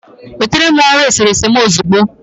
nweta m ọrụ eserese m ozugbo!